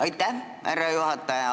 Aitäh, härra juhataja!